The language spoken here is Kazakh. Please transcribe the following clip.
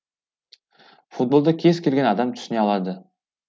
футболды кез келген адам түсіне алады